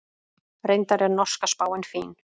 Reyndar er norska spáin fín.